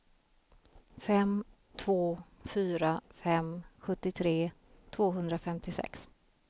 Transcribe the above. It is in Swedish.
fem två fyra fem sjuttiotre tvåhundrafemtiosex